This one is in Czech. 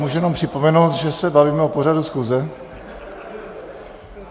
Můžu jenom připomenout, že se bavíme o pořadu schůze.